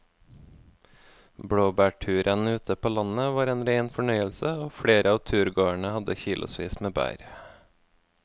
Blåbærturen ute på landet var en rein fornøyelse og flere av turgåerene hadde kilosvis med bær.